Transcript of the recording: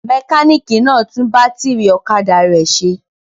Mẹkáníkì náà tún bátírí ọ̀kadà rẹ̀ ṣe?